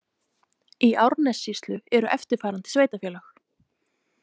Í Árnessýslu eru eftirfarandi sveitarfélög.